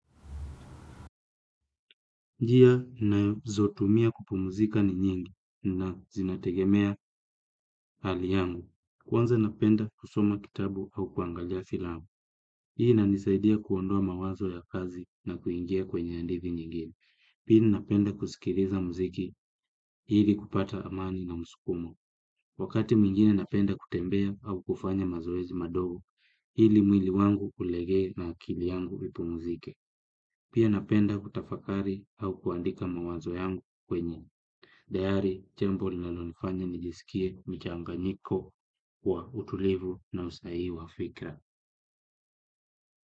Njia nazotumia kupumuzika ni nyingi na zinategemea hali yangu. Kwanza napenda kusoma kitabu au kuangalia filamu. Hii inanisaidia kuondoa mawazo ya kazi na kuingia kwenye andithi nyingine. Pili napenda kusikiliza muziki. Ili kupata amani na msukumo. Wakati mwingine napenda kutembea au kufanya mazoezi madogo. Ili mwili wangu ulegee na akili yangu ipumuzike. Pia napenda kutafakari au kuandika mawazo yangu kwenye dayari, jambo linalo nifanya nijisikie mchanganyiko wa utulivu na usahihi wa fikra.